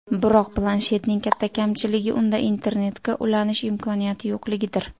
Biroq, planshetning katta kamchiligi unda internetga ulanish imkoniyati yo‘qligidir.